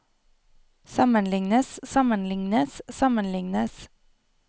sammenlignes sammenlignes sammenlignes